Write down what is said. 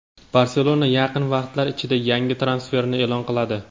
"Barselona" yaqin vaqtlar ichida yangi transferini eʼlon qiladi.